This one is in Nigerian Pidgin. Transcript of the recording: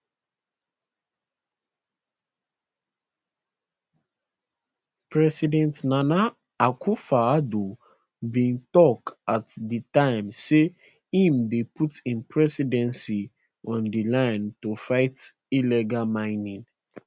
president nana akufoaddo bin tok at di time say im dey put im presidency on di line to fight illegal mining